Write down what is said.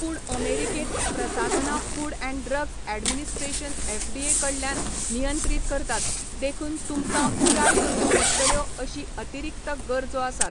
पूण अमेरिकेंत प्रसाधनां food and drug administration FDA कडल्यान नियंत्रीत करतात, देखून तुमकां पुराय करच्यो पडटल्यो अशीं अतिरिक्त गरजो आसात.